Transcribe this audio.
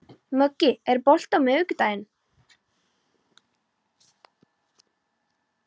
Muggi, er bolti á miðvikudaginn?